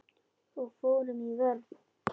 Og fórum í vörn.